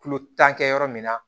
Kulo tan kɛ yɔrɔ min na